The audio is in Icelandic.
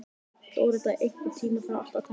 Dórótea, einhvern tímann þarf allt að taka enda.